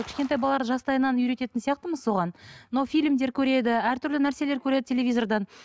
кішкентай балалар жастайынан үйрететін сияқтымыз соған мынау фильмдер көреді әртүрлі нәрселер көреді телевизордан